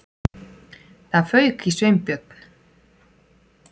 Það fauk í Sveinbjörn.